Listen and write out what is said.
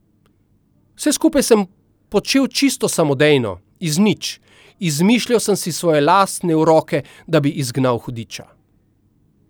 Vse skupaj sem počel čisto samodejno, iz nič, izmišljal sem si svoje lastne uroke, da bi izgnal hudiča.